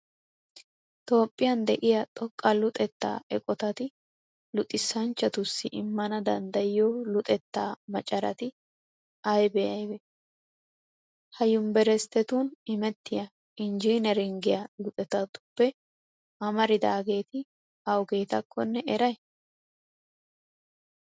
Toophphiyan de'iya xoqqa luxettaa eqotati luxanchchatussi immana danddayiyo luxettaa maceration aybee aybee? Ha Yunveresttetun imettiya injjineeringgiya luxettatuppe amaridaageeti awugeetakkonne eray?